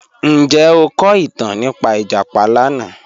Njẹ o ko itan nipa ijapa lana?